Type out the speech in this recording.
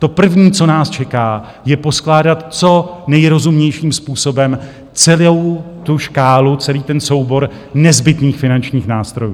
To první, co nás čeká, je poskládat co nejrozumnějším způsobem celou tu škálu, celý ten soubor nezbytných finančních nástrojů.